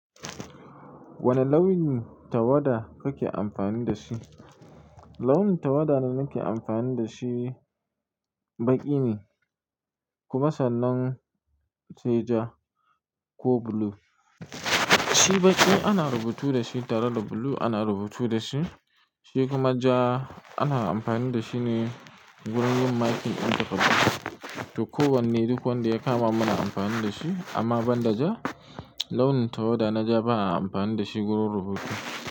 Wani launin tawada kake amfani da shi? Launin tawada da nake amfani dashi baƙi ne, kuma sannan sai ja ko blue. Shi baƙi ana rubutu da shi tare da blue ana rubutu da shi. Shi kuma ja ana amfani da shi ne wurin yin marking ɗin takaddu. To kowane duk wanda ya kama muna amfani da shi. Amma ban da ja, launin tawada na ja ba a amfani da shi wurin rubutu.